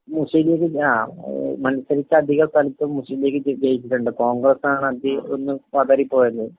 മുസ്‌ലിം ലീഗ്...ങാ..മത്സരിച്ച അധികസ്ഥലത്തും മുസ്‌ലിം ലീഗ് ജയിച്ചിട്ടുണ്ട്.കോൺഗ്രസാണ് അതീ ഒന്ന് പതറിപ്പോയത്.